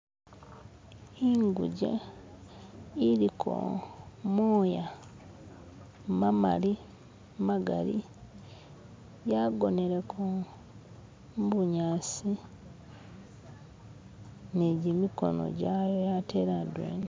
inguje iliko moya mamali magali yagoneleko mubunyasi nijimikono jawe atele adwena